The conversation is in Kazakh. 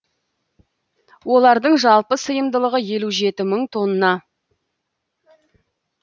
олардың жалпы сыйымдылығы елу жеті мың тонна